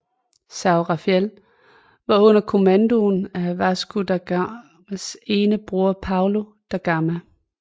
São Rafael var under kommando af Vasco da Gamas ene bror Paulo da Gama